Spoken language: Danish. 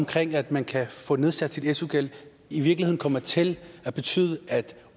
til at man kan få nedsat sin su gæld i virkeligheden kommer til at betyde at